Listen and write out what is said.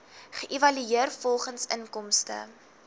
geëvalueer volgens inkomste